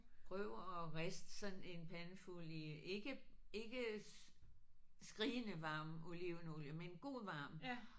Prøv og rist sådan en pandefuld i ikke ikke skrigende varm olivenolie men god varm